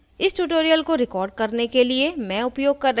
इस tutorial को record करने के लिए मैं उपयोग कर रही हूँ